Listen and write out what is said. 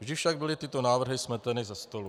Vždy však byly tyto návrh smeteny ze stolu.